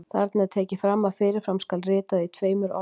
Þarna er tekið fram að fyrir fram skuli ritað í tveimur orðum.